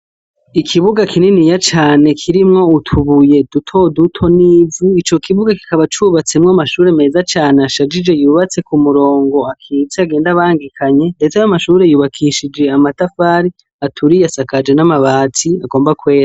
Ikibuga kinini ya cane kirimwo utubuye dutoduto n'ivu ico kibuga kikaba cubatsemwo amashure meza cane ashajije yubatse ku murongo akisi agenda abangikanye, ndetse yo amashure yubakishije amatafari aturiye asakaje n'amabatsi agomba kwera.